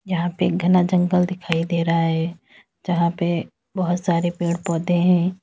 यहां पे एक घना जंगल दिखाई दे रहा है जहां पे बहुत सारे पेड़ पौधे हैं।